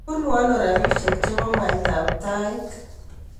Bunuu ano robishe che bo mwaitab tait.